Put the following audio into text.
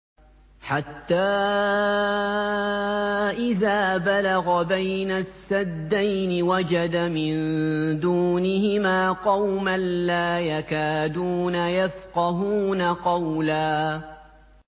حَتَّىٰ إِذَا بَلَغَ بَيْنَ السَّدَّيْنِ وَجَدَ مِن دُونِهِمَا قَوْمًا لَّا يَكَادُونَ يَفْقَهُونَ قَوْلًا